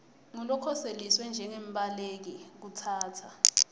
ngulokhoseliswe njengembaleki kutsatsa